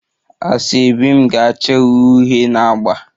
Asoebi m ga-acha uhie uhie na agba